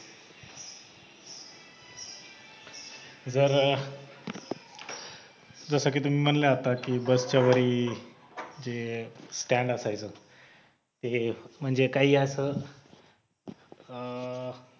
जर जसं की तुम्ही म्हणलं आता की बसच्यावरी वरी जे stand असायचं ते म्हणजे काही असं अह अह